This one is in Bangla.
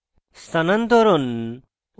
স্থানান্তরণ